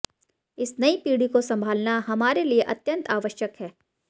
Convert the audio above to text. इस नई पीढ़ी को संभालना हमारे लिए अत्यंत आवश्यक है